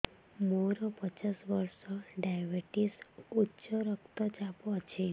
ମୋର ପଚାଶ ବର୍ଷ ଡାଏବେଟିସ ଉଚ୍ଚ ରକ୍ତ ଚାପ ଅଛି